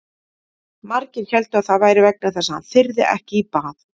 Margir héldu að það væri vegna þess að hann þyrði ekki í bað.